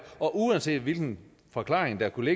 og uanset hvilken forklaring der kunne